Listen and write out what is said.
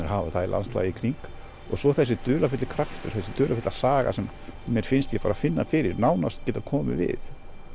hafa er landslagið í kring og svo þessi dularfulli kraftur þessi dularfulla saga sem mér finnst ég bara finna fyrir nánast geta komið við